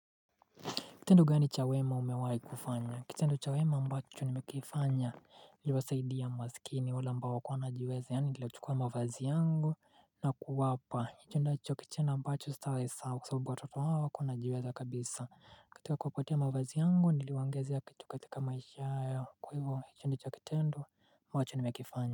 Kitendo gani cha wema umewahi kufanya. Kitendo cha wema mbacho nimekifanya. Usaidia masikini. Wale ambao wanajiweze. Yani niliwachaukua mavazi yangu na kuwapa. Kitendo ambacho sitasahau. Kwa sababu watoto wao hawakuwa wanajiweze wa kabisa. Kataka kuwapatia mavazi yangu. Niliwaongezea kitu katika maisha yao. Kwa hivyo hicho ni kitendo moja nimekifanya.